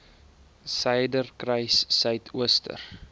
suiderkruissuidooster